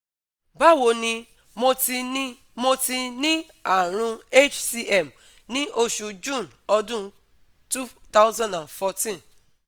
Bawo nì, mo ti nì, mo ti ní àrùn HCM ní oṣù June ọdún two thousand and fourteen